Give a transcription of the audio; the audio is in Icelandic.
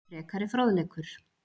Frekari fróðleikur